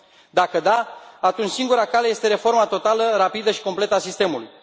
Dacă da, atunci singura cale este reforma totală, rapidă și completă a sistemului.